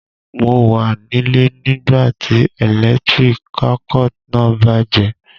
Mo wa nílé nígbàtí electric circuit náà bàjẹ́